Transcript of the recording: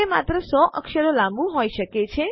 તે માત્ર 100 અક્ષરો લાંબુ હોઈ શકે